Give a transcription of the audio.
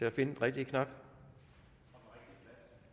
at finde den rigtige knap